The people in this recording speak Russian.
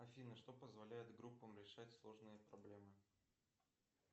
афина что позволяет группам решать сложные проблемы